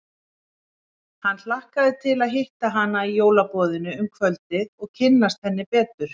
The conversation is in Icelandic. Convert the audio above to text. Hann hlakkaði til að hitta hana í jólaboðinu um kvöldið og kynnast henni betur.